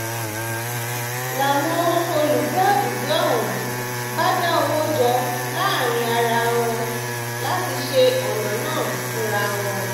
n láwọn olùgbé àdúgbò ọ̀hún bá dá owó jọ láàrin ara wọn láti ṣe ọ̀nà náà fúnra wọn